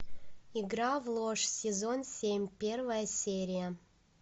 игра в ложь сезон семь первая серия